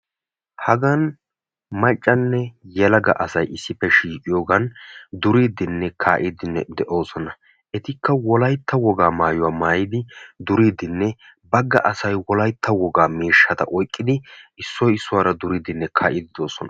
Hagan maccanne yelaga asay issippe shiiqiyoogan duriidinne kaa"idinne de'oosona. etikka wolaytta wogaa maayuwaa maayidi duriidinne asay wolaytta wogaa miishshaa oyqqidi issoy issuwaara duriidinne kaa'idi de'oosona.